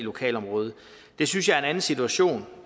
i lokalområdet det synes jeg er en anden situation